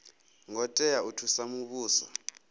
ngo tea u thusa muvhuso